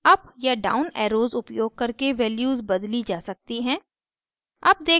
up या down arrows उपयोग करके values बदली जा सकती हैं